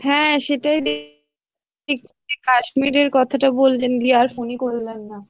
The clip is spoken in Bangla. হ্যাঁ সেটাই দে~ দেখছি কাশ্মীরের কথাটা বললেন দিয়ে আর phone ই করলেন না।